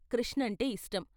కృష్ణంటే ఇష్టం.